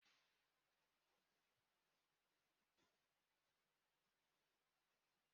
O kwuru na ya ga-enwe ehi iri isii na afọ ọzọ